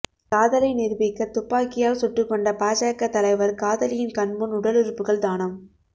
காதலை நிரூபிக்க துப்பாக்கியால் சுட்டுக்கொண்ட பாஜக தலைவர் காதலியின் கண்முன் உடலுறுப்புகள் தானம்